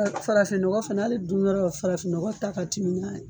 Farafin nɔgɔ fana hali dun yɔrɔ la, farafin nɔgɔ ta ka timi n'a ye